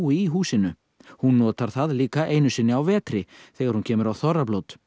í húsinu hún notar það líka einu sinni á vetri þegar hún kemur á þorrablót